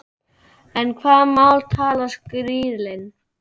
En hvaða mál talar skrílinn?